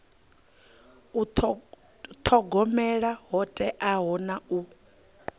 thogomela ho teaho na u